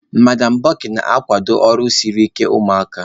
Madam Bukky na-akwado ọrụ siri ike ụmụaka